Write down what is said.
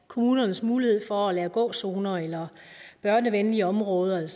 kommunernes mulighed for at lave gåzoner eller børnevenlige områder